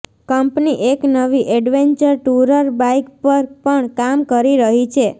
company એક નવી adventure tourer bike પર પણ કામ કરી રહી છે